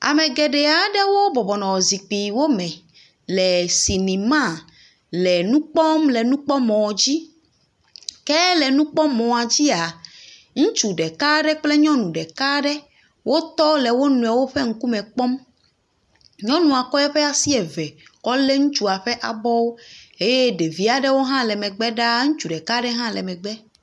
Ame geɖe aɖewo bɔbɔ nɔ zikpiwo me le sinima le nu kpɔm le nukpɔmɔa dzi. Ke le nukpɔmɔa dzia ŋutsu ɖeka aɖe kple nyɔnu ɖeka aɖe wotɔ le wo nɔewo ƒe ŋkume kpɔm. Nyɔnua kɔ eƒe asi eve kɔ lé ŋutsua ƒe abɔwo eye ɖevi aɖewo hã le megbe ɖaa, ŋutsu ɖeka aɖe hã megbe.